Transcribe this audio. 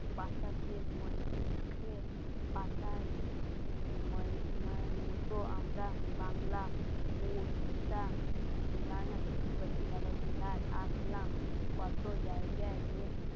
বাতাসের মুখে পাতায় মতো আমরা বাংলা আসলাম